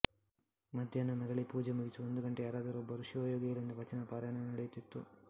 ಮಧ್ಯಾಹ್ನ ಮರಳಿ ಪೂಜೆ ಮುಗಿಸಿ ಒಂದು ಗಂಟೆ ಯಾರಾದರೊಬ್ಬರು ಶಿವಯೋಗಿಗಳಿಂದ ವಚನ ಪಾರಾಯಣ ನಡೆಯುತ್ತಿತ್ತು